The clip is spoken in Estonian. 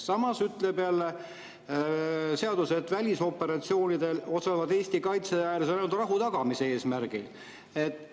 Samas ütleb jälle seadus, et välisoperatsioonidel osalevad Eesti kaitseväelased ainult rahu tagamise eesmärgil.